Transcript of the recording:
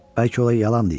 Bəlkə o yalan deyir.